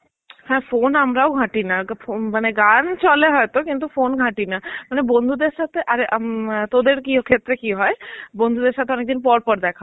হ্যাঁ phone আমরাও ঘাটিনা. উম মানে গান চলে হয়তো কিন্তু phone ঘাটিনা. মানে বন্ধুদের সাথে আর উম তোদের ক্ষেত্রে কি হয় বন্ধুদের সঙ্গে অনেকদিন পর পর দেখা